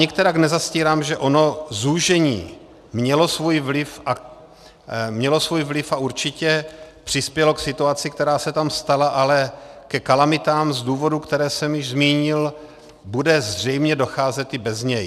Nikterak nezastírám, že ono zúžení mělo svůj vliv a určitě přispělo k situaci, která se tam stala, ale ke kalamitám z důvodů, které jsem již zmínil, bude zřejmě docházet i bez něj.